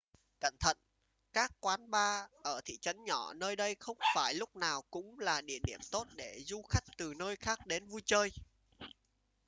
cẩn thận các quán bar ở thị trấn nhỏ nơi đây không phải lúc nào cũng là địa điểm tốt để du khách từ nơi khác đến vui chơi